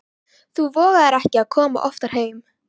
Þú vogar þér ekki að koma oftar heim!